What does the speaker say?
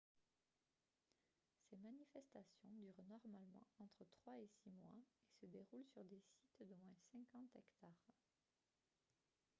ces manifestations durent normalement entre trois et six mois et se déroulent sur des sites d'au moins 50 hectares